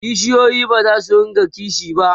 kishiyoyi bazasu rinka kishi ba